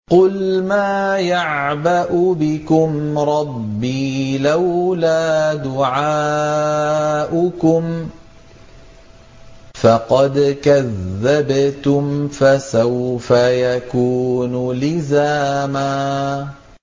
قُلْ مَا يَعْبَأُ بِكُمْ رَبِّي لَوْلَا دُعَاؤُكُمْ ۖ فَقَدْ كَذَّبْتُمْ فَسَوْفَ يَكُونُ لِزَامًا